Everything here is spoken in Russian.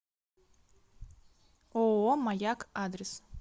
ооо маяк адрес